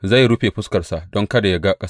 Zai rufe fuskarsa don kada yă ga ƙasar.